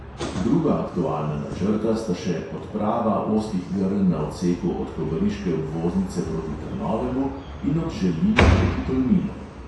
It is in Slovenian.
Druga aktualna načrta sta še odprava ozkih grl na odseku od kobariške obvoznice proti trnovemu in od želina proti tolminu.